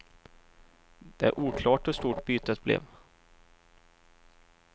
Det är oklart hur stort bytet blev.